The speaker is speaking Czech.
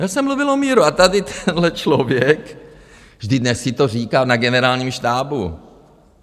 Já jsem mluvil o míru a tady tenhle člověk, vždyť dnes si to říká na Generálním štábu.